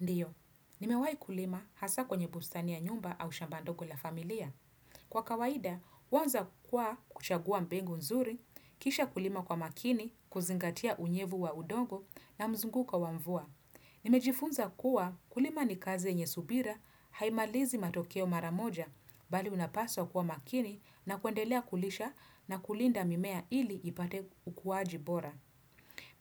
Ndio, nimewahi kulima hasa kwenye bustani ya nyumba au shamba ndogo la familia. Kwa kawaida, huanza kwa kuchagua mbengu nzuri, kisha kulima kwa makini, kuzingatia unyevu wa udongo na mzunguko wa mvua. Nimejifunza kuwa kulima ni kazi yenye subira, haimalizi matokeo mara moja bali unapaswa kuwa makini na kuendelea kulisha na kulinda mimea ili ipate ukuaji bora.